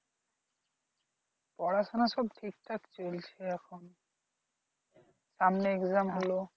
পড়াশোনা সব ঠিক ঠাক চলছে এখন সামনে exam হলো